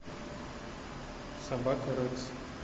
собака рекс